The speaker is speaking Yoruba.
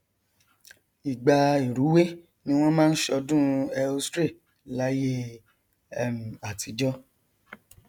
ìgbà ìrúwé ni wọn máa ń ṣọdún ēostre láyé um àtijọ